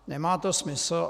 Nemá to smysl.